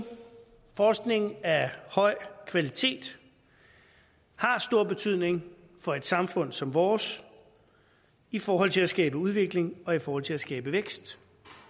forskning af høj kvalitet har stor betydning for et samfund som vores i forhold til at skabe udvikling og i forhold til at skabe vækst